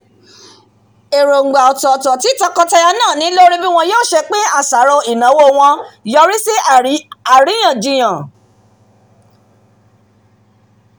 èróngbà ọ̀tọ̀ọ̀tọ̀ tí tọkọtaya náà ni lórí bí wọn yóò ṣe pín àṣàrò ìnáwó yọrí sí àríyànjiyàn